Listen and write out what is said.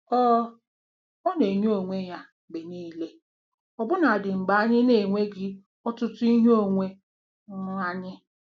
Ọ Ọ na-enye onwe ya mgbe niile ọbụna dị mgbe anyị na-enweghị ọtụtụ ihe onwe um anyị.